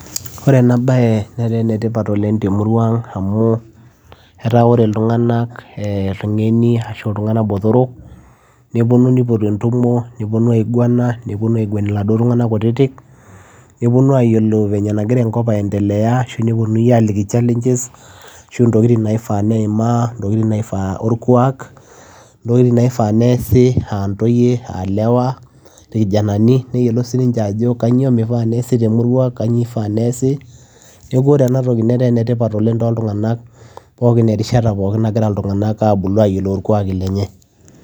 Ore ena bayee netaa ene tipat oleng temurua ang amuu etaa oree ilntung'anak botorok nepuonuu nipotuu entumoo nirvana niguen iladuo tunganak kutitiik neyiolouu venye nagiraa enkop eyendelea nalikni challenges]ntokitin orkuak aa ntoyie ilewa niyiolou ajoo kanyioo ifaa neesi na kanyioo nimifaa nekuu enetipat ena siai oleng'.